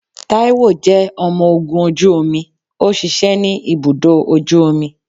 Taiwo jẹ ọmọ ogun oju omi, o ṣiṣẹ ni ibudọ ojú omí.